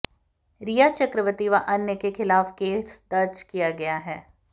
रिया चक्रवर्ती व अन्य के खिलाफ केस दर्ज किया गया है